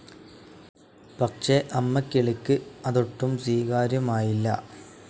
പക്ഷേ അമ്മക്കിളിക്ക് അതൊട്ടും സ്വീകാര്യമായില്ല.